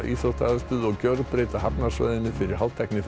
íþróttaaðstöðu og gjörbreyta hafnarsvæðinu fyrir